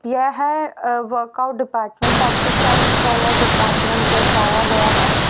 यह अ workout department exercise वाला डिपार्टमेंट दर्शाया गया है।